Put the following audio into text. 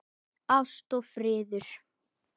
Ást og friður.